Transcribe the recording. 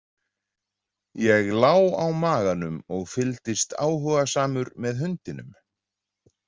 Ég lá á maganum og fylgdist áhugasamur með hundinum.